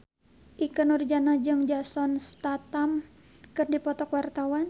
Ikke Nurjanah jeung Jason Statham keur dipoto ku wartawan